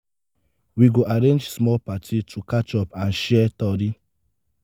we go arrange small party to catch up and share tori.